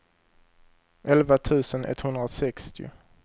elva tusen etthundrasextio